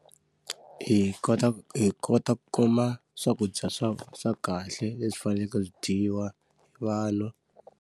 Hi kota ku hi kota ku kuma swakudya swa swa kahle leswi faneleke swi dyiwa vanhu.